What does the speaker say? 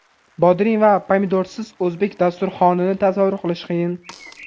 Bodring va pomidorsiz o‘zbek dasturxonini tasavvur qilish qiyin.